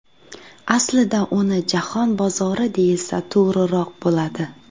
Aslida uni jahon bozori deyilsa to‘g‘riroq bo‘ladi.